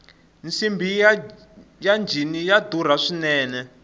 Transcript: nsimbhi ya njhini ya durha swinene